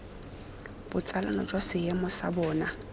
botsalano jwa seemo sa bona